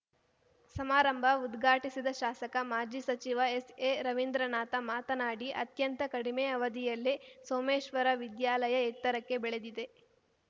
ಸಮಾರಂಭ ಉದ್ಘಾಟಿಸಿದ ಶಾಸಕ ಮಾಜಿ ಸಚಿವ ಎಸ್‌ಎರವಿಂದ್ರನಾಥ ಮಾತನಾಡಿ ಅತ್ಯಂತ ಕಡಿಮೆ ಅವಧಿಯಲ್ಲೇ ಸೋಮೇಶ್ವರ ವಿದ್ಯಾಲಯ ಎತ್ತರಕ್ಕೆ ಬೆಳೆದಿದೆ